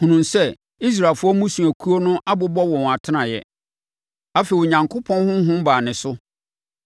hunuu sɛ Israelfoɔ mmusuakuo no abobɔ wɔn atenaeɛ. Afei, Onyankopɔn honhom baa ne so,